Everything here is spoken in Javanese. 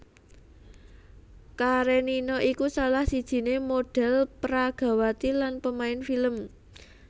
Karenina iku salah sijiné modhèl pragawati lan pemain film